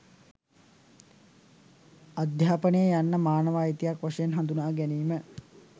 අධ්‍යාපනය යන්න මානව අයිතියක් වශයෙන් හඳුනා ගැනීම